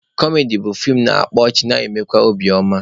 Kọmedi bụ feem na-akpa ọchị na-emekwa obi oma.